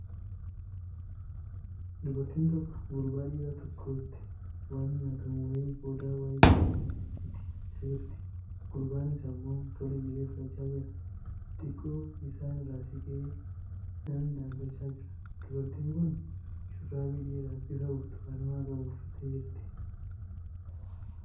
Dubartiin tokko gurbaa dhiiraa tokkotti waan nyaatamu wayii qodaa wayiitiin itti hiixachaa jirti. Gurbaanis ammoo tole jedhee fudhachaa jira. Xiqqoo isaan irraa siqee namni dhaabachaa jira. Dubartiin kun shurraabii dheeraa bifa burtukaanawaa qabu uffattee jirti.